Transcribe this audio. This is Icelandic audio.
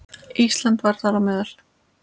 Ísland var þar á meðal.